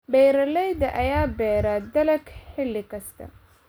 Beeralayda ayaa beera dalag xilli kasta.